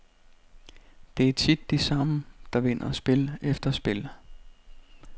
Det er tit de samme, der vinder spil efter spil.